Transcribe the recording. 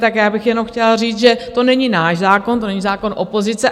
Tak já bych jenom chtěla říct, že to není náš zákon, to není zákon opozice.